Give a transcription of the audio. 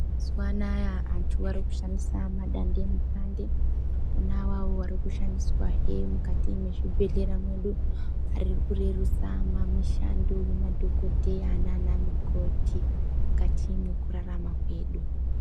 Mazuwaanaa vantu varikushandisa madande mutande ona awawo arikushandiswa hee mukati mwezvibhedhlera mwedu arikurerutsa mishando yemadhokodheya nanamukoti mukati mwekurarama kwedu.